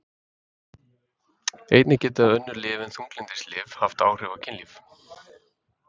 einnig geta önnur lyf en þunglyndislyf haft áhrif á kynlíf